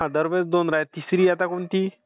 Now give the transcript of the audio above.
दरवेळी दोन राहित. तिसरी आता कोणती?